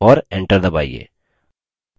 और enter दबाइए